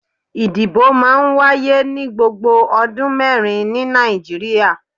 ìdíbò máà ń wàyé ni gbògbò Ọdun mẹrin ni Naijiria.